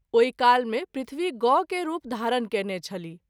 ओहि काल मे पृथ्वी गौ के रूप धारण कएने छलीह।